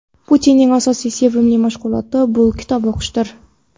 Putinning asosiy sevimli mashg‘uloti bu kitob o‘qishdir.